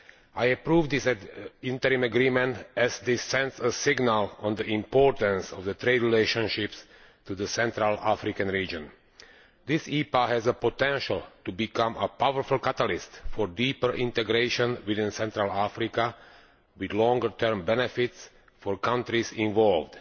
I approve of this interim agreement, as it sends a signal on the importance of the trade relationship with the Central African region. This EPA has the potential to become a powerful catalyst for deeper integration within Central Africa, with longer term benefits for the countries involved.